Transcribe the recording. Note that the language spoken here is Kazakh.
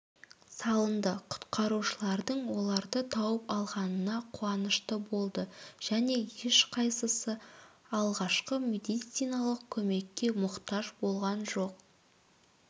салынды құтқарушылардың оларды тауып алғанына қуанышты болды және ешқайсысы алғашқы медициналық көмекке мұқтаж болған жоқ